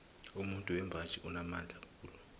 umuntu wembaji unamandla khulu